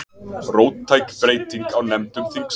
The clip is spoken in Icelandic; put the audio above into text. Róttæk breyting á nefndum þingsins